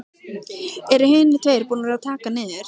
Eru hinir tveir búnir að taka hann niður.